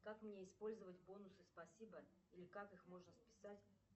как мне использовать бонусы спасибо или как их можно списать